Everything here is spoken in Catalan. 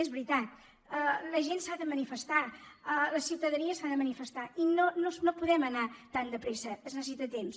és veritat la gent s’ha de manifestar la ciutadania s’ha de manifestar i no podem anar tan de pressa es necessita temps